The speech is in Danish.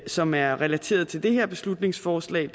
som er relateret til det her beslutningsforslag